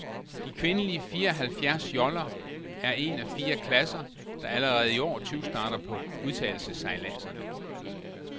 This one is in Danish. De kvindelige fire halvfjerds joller er en af fire klasser, der allerede iår tyvstarter på udtagelsessejladserne.